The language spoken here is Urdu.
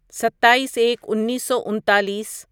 ستائیس ایک انیسو انتالیس